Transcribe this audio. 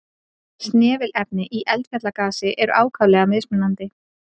Snefilefni í eldfjallagasi eru ákaflega mismunandi.